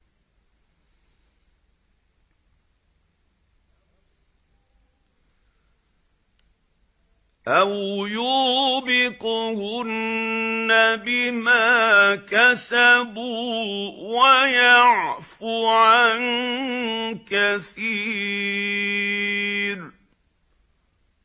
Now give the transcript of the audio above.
أَوْ يُوبِقْهُنَّ بِمَا كَسَبُوا وَيَعْفُ عَن كَثِيرٍ